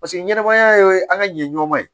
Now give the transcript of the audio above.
Paseke ɲɛnɛmaya ye an ka ɲɛmɔgɔ ye